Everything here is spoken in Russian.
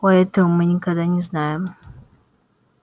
о этого мы никогда не знаем